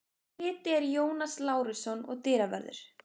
Bryti er Jónas Lárusson og dyravörður